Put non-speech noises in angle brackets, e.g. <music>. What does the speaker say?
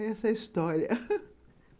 É essa a história <laughs>